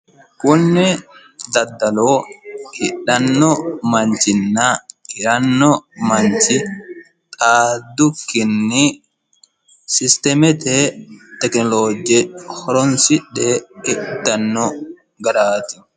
kunni daddalo hidhanno manchinna hiranno manchi xaaddukkinni sisteemete tekinolooje horonsidhee hidhitanno garaati.